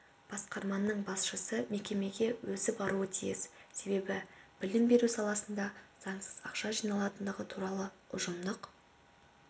басқарманың басшысы мекемеге өзі баруы тиіс себебі білім беру саласында заңсыз ақша жиналатындығы туралы ұжымдық